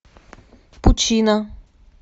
пучина